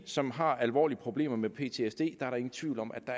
som har alvorlige problemer med ptsd er der ingen tvivl om at